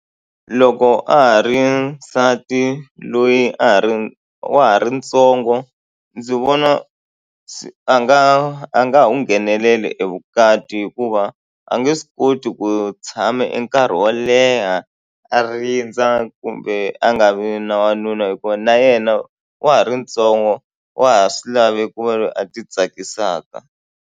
Loko a ha ri nsati loyi a ha ri wa ha ri ntsongo ndzi vona a nga a nga ngheneleli e vukati hikuva a nge se koti ku tshame nkarhi wo leha a rindza kumbe a nga vi na wanuna hikuva na yena wa ha ri ntsongo wa ha swi lavi ku va loyi a titsakisaka.